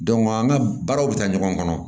an ka baaraw bɛ taa ɲɔgɔn kɔnɔ